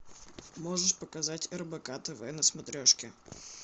можешь показать рбк тв на смотрешке